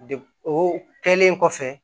De o kɛlen kɔfɛ